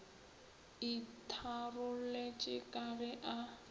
o itharolotše ka ge a